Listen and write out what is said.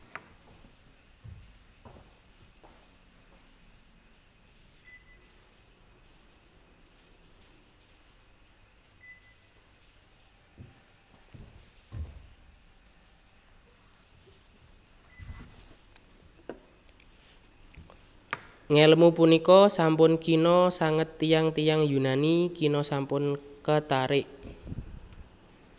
Ngèlmu punika sampun kina sanget tiyang tiyang Yunani kina sampun katarik